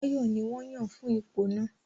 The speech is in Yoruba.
Báyọ̀ ní wọ́n yàn fún ipò náà